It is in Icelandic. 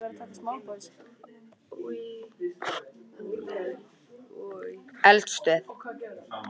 Víðast hvar mynda berggangar sveima eða reinar sem tengjast ákveðinni eldstöð.